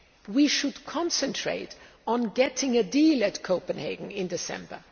We should concentrate on getting a deal at Copenhagen in December.